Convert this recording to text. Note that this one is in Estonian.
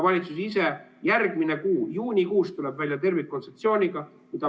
Valitsus ise tuleb järgmine kuu, juunikuus välja tervikkontseptsiooniga.